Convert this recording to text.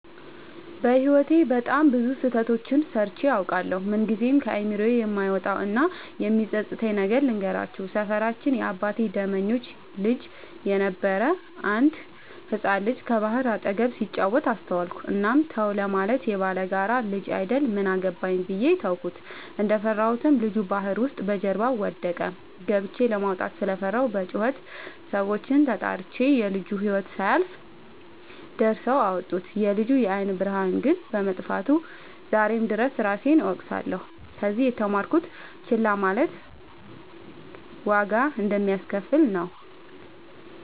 በህይወቴ በጣም ብዙ ስህተቶችን ሰርቸ አውቃለሁ። ምንግዜም ከአይምሮዬ የማይወጣው እና የሚፀፅተኝን ነገር ልንገራችሁ። ሰፈራችን የአባቴ ደመኞች ልጅ የነበረ አንድ ህፃን ልጅ ከባህር አጠገብ ሲጫወት አስተዋልኩት። እናም ተው ለማለት የባላጋራ ልጅ አይደል ምን አገባኝ ብዬ ተውኩት። እንደፈራሁትም ልጁ ባህር ውስጥ በጀርባው ወደቀ። ገብቸ ለማውጣት ስለፈራሁ በጩኸት ሰዎችን ተጣርቸ የልጁ ህይወት ሳያልፍ ደርሰው አወጡት። የልጁ የአይን ብርሃን ግን በመጥፋቱ ዛሬም ድረስ እራሴን እወቅሳለሁ። ከዚህ የተማርኩት ችላ ማለት ዋጋ እንደሚያሰከፍል ነው።